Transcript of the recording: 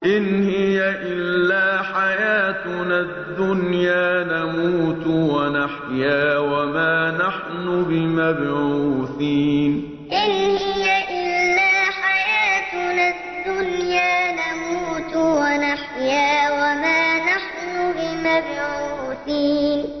إِنْ هِيَ إِلَّا حَيَاتُنَا الدُّنْيَا نَمُوتُ وَنَحْيَا وَمَا نَحْنُ بِمَبْعُوثِينَ إِنْ هِيَ إِلَّا حَيَاتُنَا الدُّنْيَا نَمُوتُ وَنَحْيَا وَمَا نَحْنُ بِمَبْعُوثِينَ